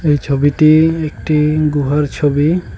এই ছবিটি একটি গুহার ছবি।